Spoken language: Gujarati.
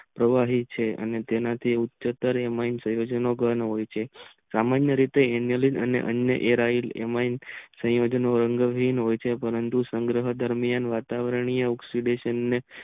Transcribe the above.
પવાહી છે તેના જેવું ઉચ્ચતર એમાં સંયોજનો હોય છે સામાનીય રેતે અનીય એમાં સંયોજનો અવનિયો હોય છે પરંતુ સંગહ દરમિયાન વાતાવરણ પરંતુ